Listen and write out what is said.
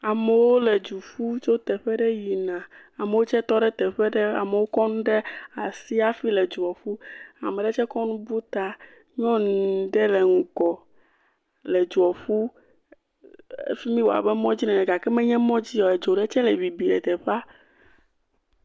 Amewo le du ƒum tso teƒe ɖe yina, ame aɖewo tsɛ tɔ ɖe teƒe ɖe. amewo kɔnu ɖe asi aƒe le dua ƒum, ame ɖe tse tsɔ nu ƒu ta. Nyɔnu ɖe le ŋgɔ le dua ƒum, fimi woa abe mɔdzi nene gake me nye mɔdzi ye o. edzo ɖe tse le bini le teƒaea.